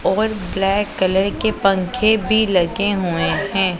और black colour के पंखे भी लगे हुएं हैं।